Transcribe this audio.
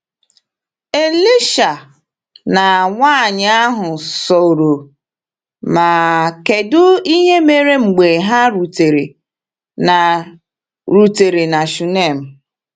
Elisha na nwaanyị ahụ soro, ma kedụ ihe mere mgbe ha rutere na rutere na Shunem?